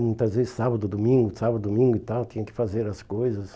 Muitas vezes sábado, domingo, sábado, domingo e tal, tinha que fazer as coisas.